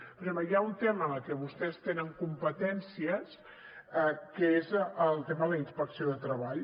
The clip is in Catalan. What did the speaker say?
per exemple hi ha un tema en el que vostès tenen competències que és el tema de la inspecció de treball